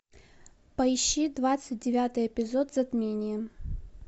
поищи двадцать девятый эпизод затмение